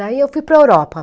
Daí eu fui para Europa.